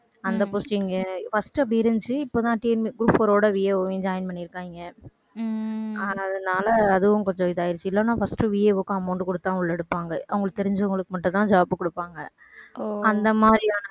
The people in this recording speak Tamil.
அந்த posting உ first அப்படி இருந்துச்சு இப்பதான் TNP~group four ஓட VAO வையும் join பண்ணியிருக்காங்க. ஆனதுனால அதுவும் கொஞ்சம் இதாயிடுச்சு இல்லைன்னா firstVAO வுக்கு amount குடுத்தா உள்ள எடுப்பாங்க. அவங்களுக்கு தெரிஞ்சவங்களுக்கு மட்டும்தான் job குடுப்பாங்க ஓ அந்த மாதிரியான